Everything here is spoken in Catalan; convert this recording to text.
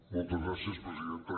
moltes gràcies presidenta